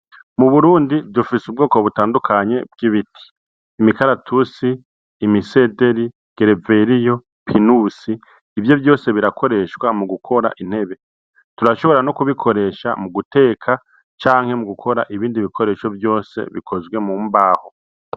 Muburundi dufise ubwoko butandukanye bw'ibiti imikaratusi, imisederi, gereveriyo, pinusi ivyo vyose birakoreshwa mugukora intebe turashobora no kubikoresha muguteka canke mugukora ibindi bikoresho vyose bikoze m'umbaho.